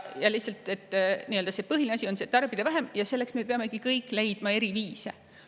Põhiline asi on tarbida vähem ja selleks me peamegi kõik leidma eri viise.